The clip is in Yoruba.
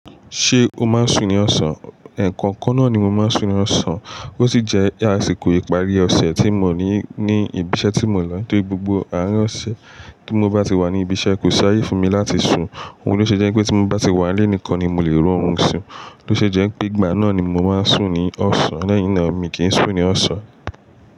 Ṣé o máa ń sùn ní ọ̀sán? Ẹ̀ẹ̀kan kan náà ni mo máa ń sùn ní ọ̀sán. Ó sì jẹ́ àsìkò ìparí ọ̀sẹ̀ tí mo ní ní ibi iṣẹ́ tí mo lọ. Tó rí gbogbo àárín ọ̀sẹ̀ tí mo bá ti wà ní ibi iṣẹ́ kò sáyè fún mi láti sùn. Ohun ló ṣe jẹ́ pé tí mo bá ti wà nílé nìkan ni mo lè ro orun ìsùn. Ó ṣe jẹ́ pé ìgbà náà ni mo máa ń sùn ní ọ̀sán. Lẹ́yìn náà mi kì ń sun ní ọ̀sán.